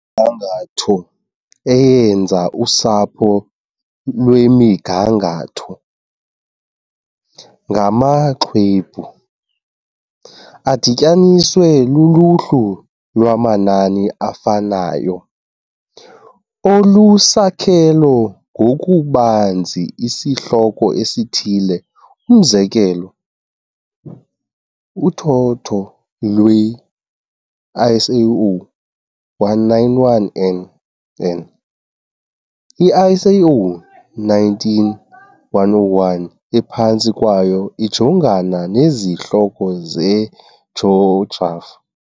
Imigangatho eyenza "usapho lwemigangatho" ngamaxwebhu, adityaniswe luluhlu lwamanani afanayo, olusakhelo ngokubanzi isihloko esithile, umzekelo, uthotho lwe-ISO 191nn, i-ISO 19101 ephantsi kwayo, ijongana nezihloko zejografi.